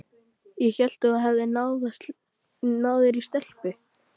Ég hélt að þú hefðir náð þér í stelpu.